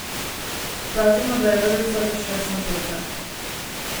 Pazimo, da je vrvica ves čas napeta.